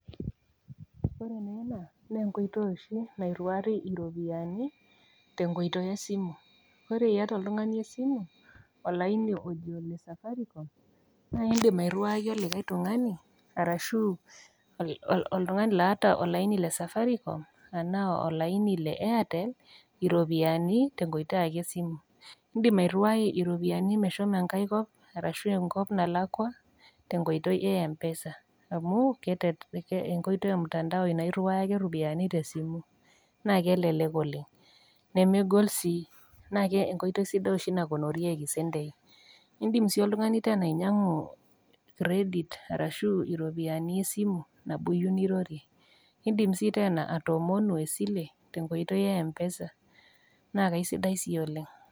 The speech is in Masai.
Ore ena na enkoitoi oshi nairiwari iropiyani tenkoitoi esimu, ore iyata oltungani esimu, olaini ojo ole Safaricom, na indim airiwaki likae tungani arashu oltungani oota olaini le Safaricom arashu olaini le airtel iropiyiani tenkoitoi esimu, indim airiwai iropiyiani meshomoita enkae kop arashu enkop nalakwa te nkoitoi e mpesa, ee enkoitoi emtandao na iriwaki ake ropiyiani tebsimu nakelelek oleng nemegol sii naa enkoitoi sidai oshi ,indim si oltungani tena ainyangu credit arashu a ropiyani esimu nirorie. Indim sii tena atoomonu esile tenkoitoi e mpesa na kaisidai sii oleng.